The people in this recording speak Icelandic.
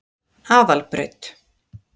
Aðalbraut